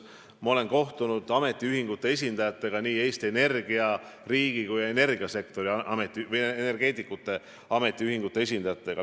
Ma olen kohtunud nii Eesti Energia kui ka energeetikute ametiühingute esindajatega.